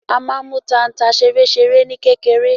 A máa n mú tanta ṣeréṣeré ní kékeré.